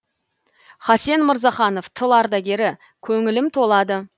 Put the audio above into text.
хасен мырзаханов тыл ардагері көңілім толады